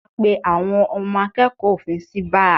A pé àwọn ọmọ akẹ́kọ̀ọ́ òfin sí báà